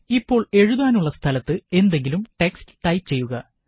ഇപ്പോള് എഴുതാനുള്ള സ്ഥലത്ത് എന്തെങ്കിലും ടെക്സ്റ്റ് ടൈപ് ചെയ്യുക